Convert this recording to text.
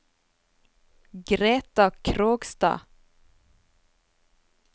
Greta Krogstad